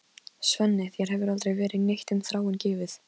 Svenni, þér hefur aldrei verið neitt um Þráin gefið.